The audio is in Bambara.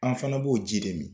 An fana b'o ji de min.